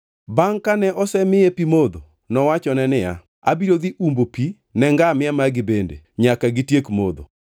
Bangʼ kane osemiye pi modho, nowachone niya, “Abiro dhi umbo pi ne ngamia magi bende, nyaka gitiek modho.”